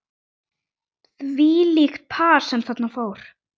Þvílíkt par sem þarna fór.